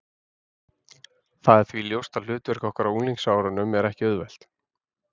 Það er því ljóst að hlutverk okkar á unglingsárunum er ekki auðvelt.